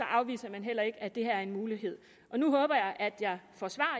afviser man heller ikke at det her er en mulighed nu håber jeg at jeg får svar